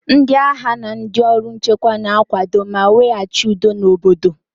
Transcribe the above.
Ndị agha na ndị ọrụ nchekwa na-akwado ma weghachi udo n'obodo